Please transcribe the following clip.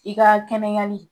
I ka kɛnɛyali